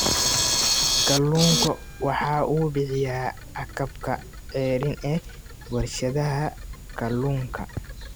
Kalluunku waxa uu bixiyaa agabka ceeriin ee warshadaha kalluunka.